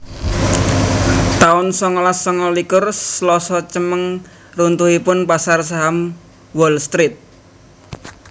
taun songolas sanga likur Slasa Cemeng runtuhipun pasar saham Wall Street